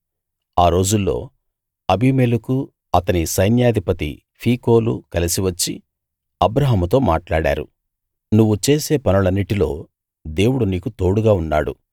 ఆ రోజుల్లో అబీమెలెకూ అతని సైన్యాధిపతి ఫీకోలూ కలసి వచ్చి అబ్రాహాముతో మాట్లాడారు నువ్వు చేసే పనులన్నిటిలో దేవుడు నీకు తోడుగా ఉన్నాడు